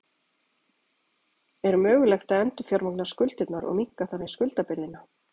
Er mögulegt að endurfjármagna skuldirnar og minnka þannig skuldabyrðina?